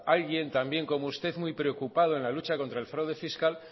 sea alguien también como usted muy preocupado en la lucha contra el fraude fiscal